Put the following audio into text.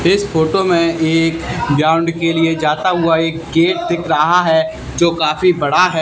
इस फोटो में एक ग्राउंड के लिए जाता हुआ एक गेट दिख रहा है जो काफी बड़ा है।